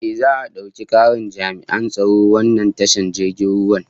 Ehh, za'a dauki karin jami'an tsaron wannan tashar jirgin ruwan